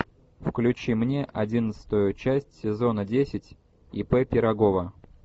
включи мне одиннадцатую часть сезона десять ип пирогова